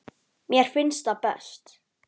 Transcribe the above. Mér finnst það best.